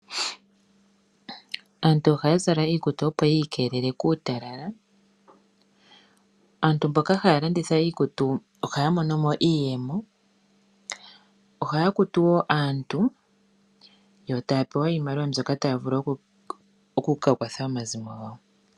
Aantu ohaya zala iikutu opo yiikelele kuutalala. Aantu mboka haya landitha iikutu ohaya mono mo iiyemo. Ohaya kutu wo aantu yo taya pewa iimaliwa mbyoka taya vulu oku kakwatha omazimo gawo.